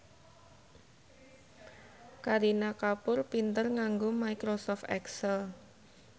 Kareena Kapoor pinter nganggo microsoft excel